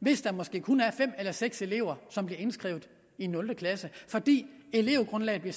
hvis der måske kun er fem eller seks elever som bliver indskrevet i nul klasse fordi elevgrundlaget bliver